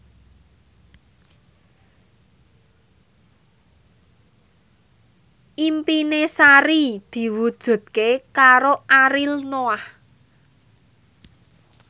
impine Sari diwujudke karo Ariel Noah